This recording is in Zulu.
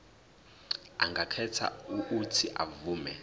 angakhetha uuthi avume